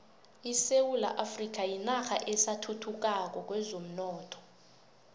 isewula afrika yinarha esathuthukako kwezomnotho